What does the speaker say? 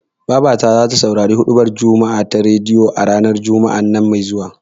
Babata zata saurari huɗubar juma'a ta rediyo, a Juma'ar nan me zuwa.